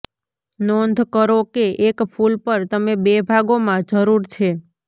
નોંધ કરો કે એક ફૂલ પર તમે બે ભાગોમાં જરૂર છે